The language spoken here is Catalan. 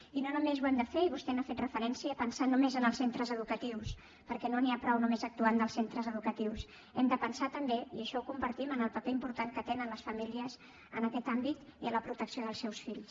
i no només ho hem de fer i vostè hi ha fet referència pensant només en els centre educatius perquè no n’hi ha prou només actuant en els centres educatius hem de pensar també i això ho compartim en el paper important que tenen les famílies en aquest àmbit i en la protecció dels seus fills